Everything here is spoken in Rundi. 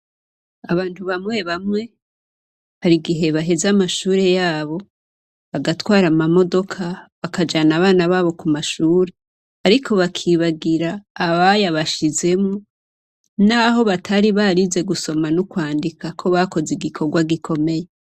Abantu bamwe bamwe hari igihe baheza amashure yabo bagatwara amamodoka, bakajana abana babo ku mashure, ariko bakibagira abayabashizemwo; n'aho batari barize gusoma no kwandika ko bakoze igikorwa gikomeye.